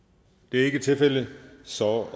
ikke tilfældet så